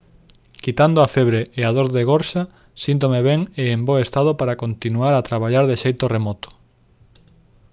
quitando a febre e a dor de gorxa síntome ben e en bo estado para continuar a traballar de xeito remoto